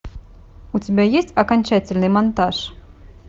у тебя есть окончательный монтаж